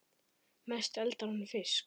Mest eldar hann fisk.